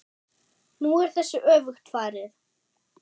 Nú er þessu öfugt farið.